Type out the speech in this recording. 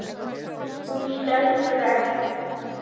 Hún stendur enn.